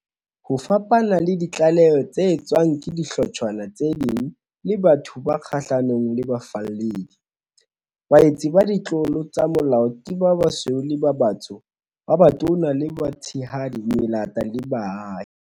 Ho fapana le ditlaleho tse etswang ke dihlotshwana tse ding le batho ba kgahlanong le bafalledi, baetsi ba ditlolo tsa molao ke ba basweu le ba batsho, ba batona le ba batshehadi, melata le baahi.